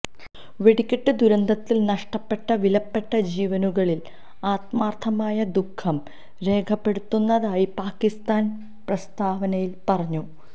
വെടിക്കെട്ട് ദുരന്തത്തില് നഷ്ടപ്പെട്ട വിലപ്പെട്ട ജീവനുകളില് ആത്മാര്ഥമായ ദുഃഖം രേഖപ്പെടുത്തുന്നതായി പാകിസ്ഥാന് പ്രസ്താവനയില് പറഞ്ഞു